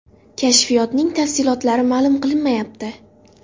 Kashfiyotning tafsilotlari ma’lum qilinmayapti.